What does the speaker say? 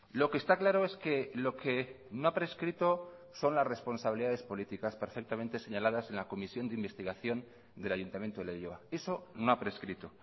lo que está claro es que lo que no ha prescrito son las responsabilidades políticas perfectamente señaladas en la comisión de investigación del ayuntamiento de leioa eso no ha prescrito